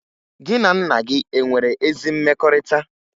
Gị na nna gị e nwere ezi mmekọrịta?